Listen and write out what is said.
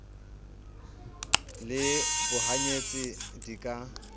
le bohany etsi di ka